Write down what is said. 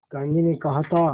गांधी ने कहा था